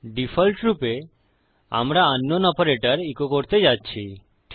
ডিফল্টরূপে আমরা আঙ্কনাউন অপারেটর ইকো করতে যাচ্ছি